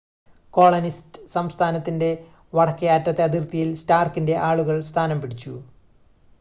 colonist സ്ഥാനത്തിൻ്റെ വടക്കേ അറ്റത്തെ അതിർത്തിയിൽ സ്റ്റാർക്കിൻ്റെ ആളുകൾ സ്ഥാനം പിടിച്ചു